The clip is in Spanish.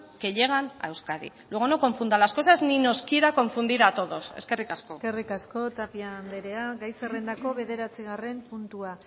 que llegan a euskadi luego no confunda las cosas ni nos quiera confundir a todos eskerrik asko eskerrik asko tapia andrea gai zerrendako bederatzigarren puntua